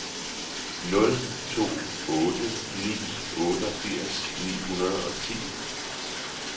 nul to otte ni otteogfirs ni hundrede og ti